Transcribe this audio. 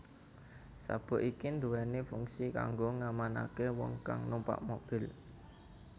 Sabuk iki duwéni fungsi kanggo ngamanaké wong kang numpak mobil